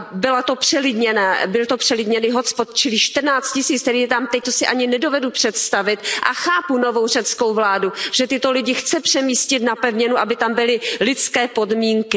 Byl to přelidněný hotspot, čili čtrnáct tisíc lidí, kterých je tam teď, to si ani nedovedu představit a chápu novou řeckou vládu, že tyto lidi chce přemístit na pevninu, aby tam byly lidské podmínky.